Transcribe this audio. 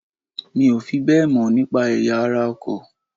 Mi ò fi bẹ́ẹ̀ mọ̀ nípa ẹ̀yà ara ọkọ̀